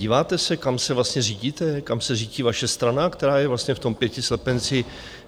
Díváte se, kam se vlastně řídíte, kam se řítí vaše strana, která je vlastně v tom pěti slepenci?